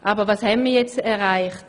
Aber was haben wir erreicht?